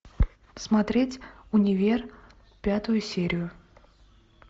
смотреть универ пятую серию